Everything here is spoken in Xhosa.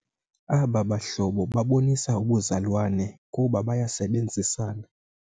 Aba bahlobo babonisa ubuzalwane kuba bayasebenzisana.